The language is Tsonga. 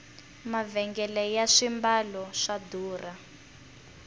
mavhengele ya swimbalo swa durha